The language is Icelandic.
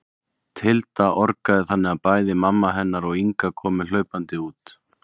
Tilda orgaði þannig að bæði mamma hennar og Inga komu hlaupandi út.